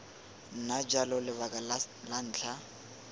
nna jalo lebaka la ntlha